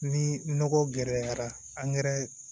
Ni nɔgɔ gɛrɛ la